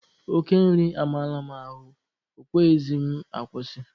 Oke nri amarala m ahụ, ọ kweghịzị m akwụsị.